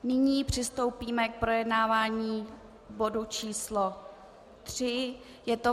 Nyní přistoupíme k projednávání bodu číslo tři, je to